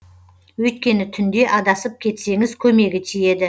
өйткені түнде адасып кетсеңіз көмегі тиеді